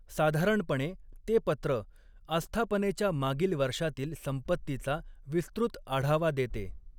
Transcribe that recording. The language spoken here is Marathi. साधारणपणे ते पत्र, अस्थापनेच्या मागील वर्षातील संपत्तीचा विस्तृत आढावा देते.